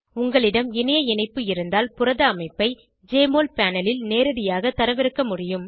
உங்களிடம் இணைய இணைப்பு இருந்தால் புரத அமைப்பை ஜெஎம்ஒஎல் பேனல் ல் நேரடியாக தரவிறக்க முடியும்